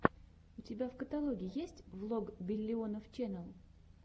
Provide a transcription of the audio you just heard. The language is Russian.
у тебя в каталоге есть влог биллионов ченел